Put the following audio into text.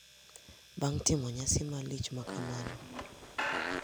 Bang’ timo nyasi malich makamano,